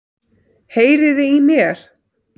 Heyriði í mér?